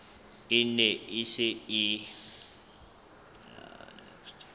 e ne e se e